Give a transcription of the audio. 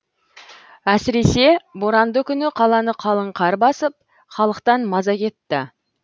әсіресе боранды күні қаланы қалың қар басып халықтан маза кетті